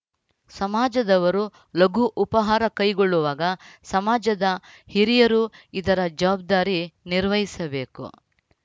ಸಮಾಜದವರು ಲಘು ಉಪಹಾರ ಕೈಗೊಳ್ಳುವಾಗ ಸಮಾಜದ ಹಿರಿಯರು ಇದರ ಜವಾಬ್ದಾರಿ ನಿರ್ವಹಿಸಬೇಕು